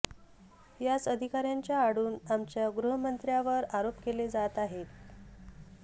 याच अधिकाऱ्यांच्या आडून आमच्या गृहमंत्र्यावर आरोप केले जात आहेत